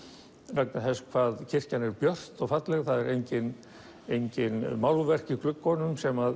vegna þess hvað kirkjan er björt og falleg það eru engin engin málverk í gluggunum sem